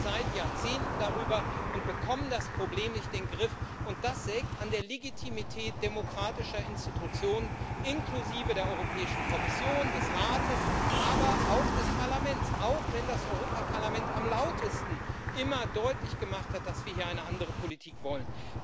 Wir reden seit Jahrzehnten darüber und bekommen das Problem nicht in den Griff, und das sägt an der Legitimität demokratischer Institutionen inklusive der Europäischen Kommission, des Rates, aber auch des Parlaments, auch wenn das Europäische Parlament am lautesten immer deutlich gemacht hat, dass wir hier eine andere Politik wollen.